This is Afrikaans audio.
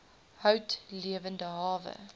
hout lewende hawe